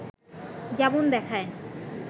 যেমন দেখায়